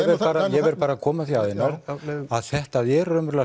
ég verð bara að koma því að Einar að þetta eru raunverulega